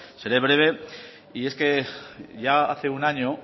seré breve y es que ya hace un año